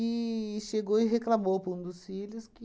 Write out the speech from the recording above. E chegou e reclamou para um dos filhos que